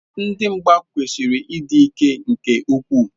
Ndị mgba kwesịrị ịdị ike nke ukwuu.